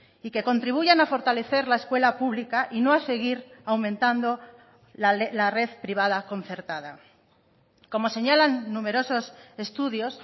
y que contribuyan a fortalecer la escuela pública y no a seguir aumentando la red privada concertada como señalan numerosos estudios